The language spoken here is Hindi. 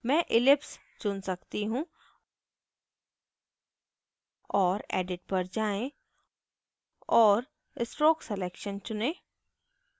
मैं ellipse चुन सकती हूँ और edit पर जाएँ और stroke selection चुनें